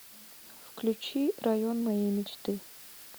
включи район моей мечты